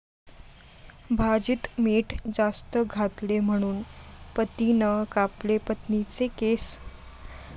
भाजीत मीठ जास्त घातले म्हणून पतीनं कापले पत्नीचे केस!